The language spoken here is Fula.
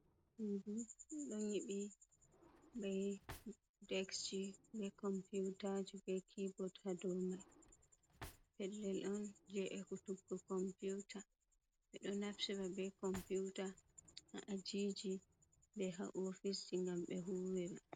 Suudu ɗon nyiɓi bee dekji bee compuutaaji bee kiibot haa dow mani pellel on, jey ekutugo kompuuta, ɓe ɗo naftiba bee computaa haa ajiiji bee haa ofice ngam ɓe huuwira.